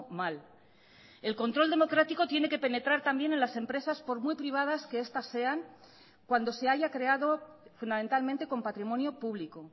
mal el control democrático tiene que penetrar también en las empresas por muy privadas que estas sean cuando se haya creado fundamentalmente con patrimonio público